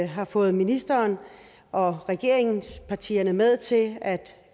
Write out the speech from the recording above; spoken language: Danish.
har fået ministeren og regeringspartierne med til at